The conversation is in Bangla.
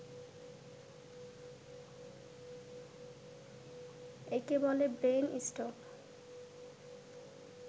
একে বলে ব্রেইন স্ট্রোক